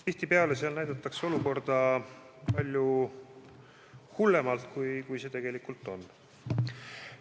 Tihtipeale näidatakse seal olukorda palju hullemana, kui see tegelikult on.